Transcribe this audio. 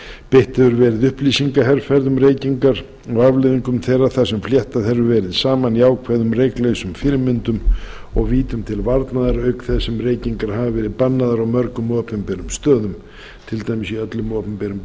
beitt hefur verið upplýsingaherferð um reykingar og afleiðingum þeirra þar sem fléttað hefur verið saman jákvæðum reyklausum fyrirmyndum og vítum til varnaðar auk þess sem reykingar hafa verið bannaðar á mörgum opinberum stöðum til dæmis í öllum opinberum